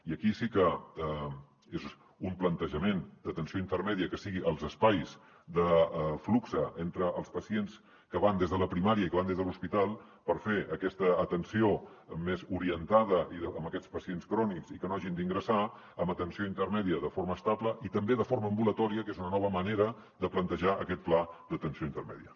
i aquí sí que és un plantejament d’atenció intermèdia que sigui els espais de flux entre els pacients que van des de la primària i que van des de l’hospital per fer aquesta atenció més orientada a aquests pacients crònics i que no hagin d’ingressar amb atenció intermèdia de forma estable i també de forma ambulatòria que és una nova manera de plantejar aquest pla d’atenció intermèdia